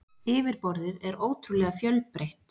Yfirborðið er ótrúlega fjölbreytt.